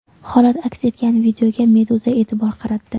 Holat aks etgan videoga Meduza e’tibor qaratdi .